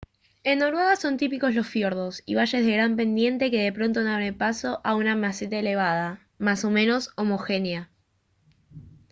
en noruega son típicos los fiordos y valles de gran pendiente que de pronto abren paso a una meseta elevada más o menos homogénea